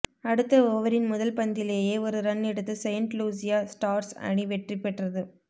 அடுத்த ஓவரின் முதல் பந்திலேயே ஒரு ரன் எடுத்து செயிண்ட் லூசியா ஸ்டார்ஸ் அணி வெற்றி பெற்றது